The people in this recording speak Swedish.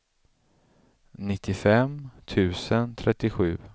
nittiofem tusen trettiosju